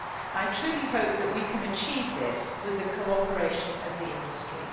I truly hope that we can achieve this with the cooperation of the industry.